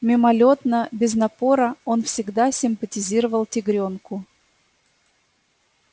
мимолётно без напора он всегда симпатизировал тигрёнку